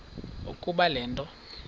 ukuba le nto